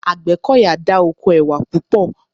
Àgbẹ́kọ̀yà dá oko ẹwà púpọ̀